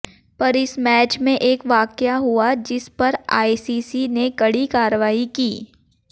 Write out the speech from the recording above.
पर इस मैच में एक वाकया हुआ जिस पर आईसीसी ने कड़ी कार्रवाई की